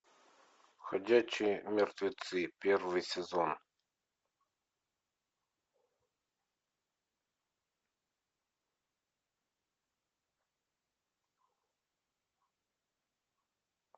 ходячие мертвецы первый сезон